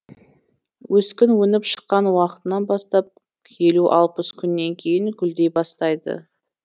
өскін өніп шыққан уақытынан бастап елу алпыс күннен кейін гүлдей бастайды